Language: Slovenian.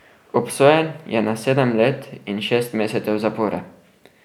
Obsojen je na sedem let in šest mesecev zapora.